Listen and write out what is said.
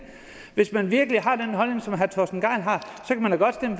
hvis man virkelig har den holdning som herre torsten gejl har